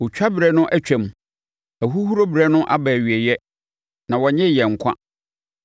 “Otwa berɛ no atwam, ahuhuro berɛ no aba awieeɛ, na wɔnnyee yɛn nkwa.”